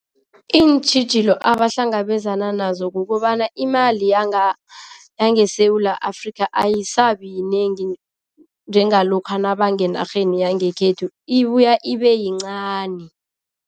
Iintjhijilo abahlangabezana nazo kukobana, imali yangeSewula Afrika ayasabi yinengi njengalokha nabangenarheni yangekhethu, ibuya ibeyincani.